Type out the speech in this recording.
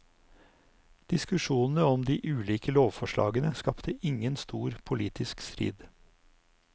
Diskusjonene om de ulike lovforslagene skapte ingen stor politisk strid.